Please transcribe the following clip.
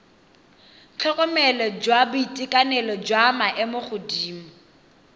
tlhokomelo jwa boitekanelo jwa maemogodimo